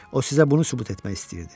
O sizə bunu sübut etmək istəyirdi.